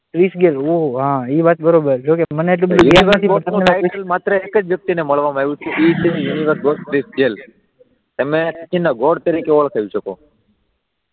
Chris Gayle ઓ હા એ વાત બરાબર જો કે એ માત્ર એક જ વ્યક્તિને મળવામાં આવ્યું કે એને ગોડ તરીકે ઓળખાવી શકો